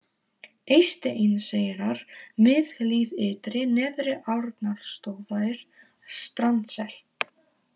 Eysteinseyrar, Miðhlíð Ytri, Neðri-Arnórsstaðir, Strandsel